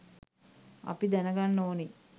අපි දැනගන්න ඕනි